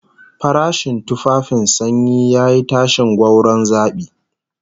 Farashin tufafin sanyi yayi tashin gwauron zabi